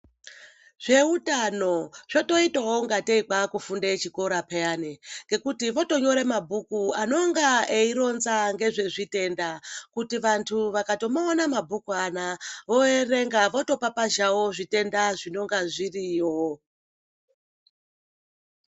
Zveutano zvotoita wo kungatei kwaa kufunda zvikora peyani. Ngekuti votonyora mabhuku anonga eironza ngezvezvitenda. Kuti vantu vakatomaona mabhuku anaya voerenga votopapazhawo zvitenda zvinonga zviriyo.